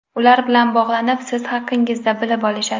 Ular bilan bog‘lanib, siz haqingizda bilib olishadi.